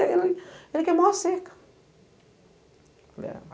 Ele ele queimou a cerca.